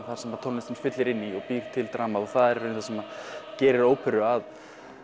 það sem tónlistin fyllir inn í og býr til dramað og það er í rauninni það sem gerir óperu að